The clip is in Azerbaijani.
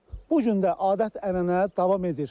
Bu gün də adət-ənənə davam edir.